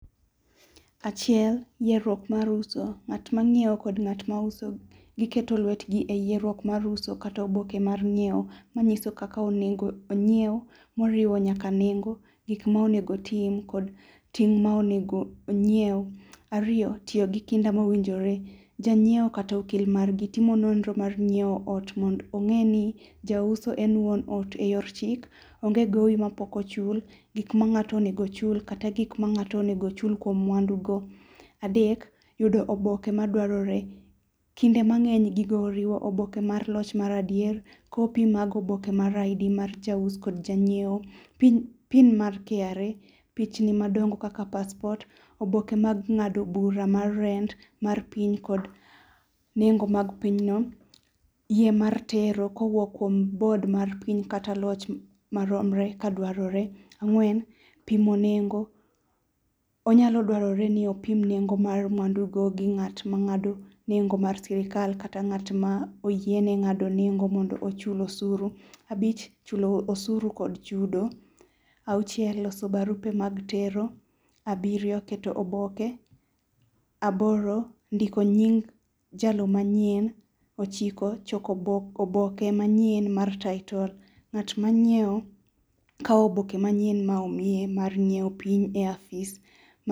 Achiel yieruok mar uso ,ng'at manyiew kod ng'at mauso giketo lwetgi e yierruok mar uso kata e oboke mar nyiew manyiso kaka onego onyiew moriwo nyaka nengo gik ma onego otim kod ting ma onego onyiew. Ariyo, tiyo gi kinda mowinjore, kjanyiewo kata okil margi timo nonro mar nyiew ot mondo onge ni juso en wuon ot eyor chik, onge gowi mapok ochul, gikma ng'ato onego chuol kod gik ma ng'ato onego ochul kuom mwandu go. Adek, yudo oboke madwaroe, kinde mangeny gigo oriwo oboke mag loch mar adier, copy mag oboke mar ID mar jaus kod ja ngiewo, pin mar KRA, pichni madongo kaka passport, oboke mag ngado bura mar rent mar piny kod nengo mag piny no ,yie mar tero kowuok kuom bod mar piny kata loch maromre ka dwarore. Ang'wen, pimo nengo, onyalo dwaorre ni opim nengo mar mwandugo gi ng'at mangado nengo mar sirkal kata ng'at moyiene ngado nengo mondo ochul osuru. Abich, chulo osuru kod chudo. Auchiel, loso barupe mag tero. Abirio, keto oboke, oboke, ndiko nying' jalo manyien, ochiko, choko oboke manyien mar title ng'at manyiew, kao oboke manyien ma omiyoe mar nyiew pinyh e apis.